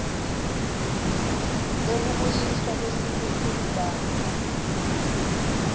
tekubuyiswa kwesimilo kubantfu